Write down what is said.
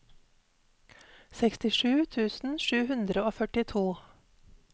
sekstisju tusen sju hundre og førtito